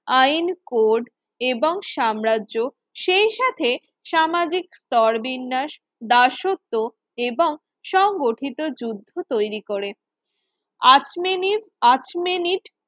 আইন কোড এবং সাম্রাজ্য সেই সাথে সামাজিক স্তরবিন্যাস দাসত্ব এবং সংগঠিত যুদ্ধ তৈরি করে আর্চমেনিস আর্চমেনিট